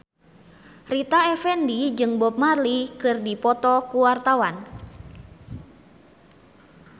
Rita Effendy jeung Bob Marley keur dipoto ku wartawan